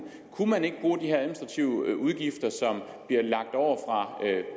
kunne man ikke bruge de her administrative udgifter som bliver lagt over